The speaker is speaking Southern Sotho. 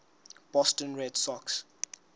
boston red sox